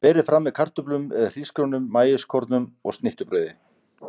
Berið fram með kartöflum eða hrísgrjónum, maískornum og snittubrauði.